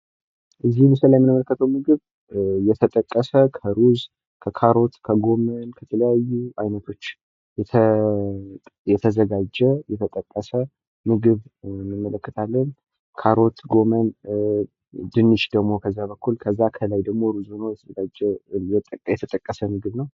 ከዚህ ምስል ላይ የምንመለከተው ምግብ የተጠቀሰ እና የተዘጋጀ ምግብ ሲሆን ድንች፣ ካሮት፣ ሩዝ እና ጎመን ከነዚህ ምግቦች የተጠቀሰ ነው።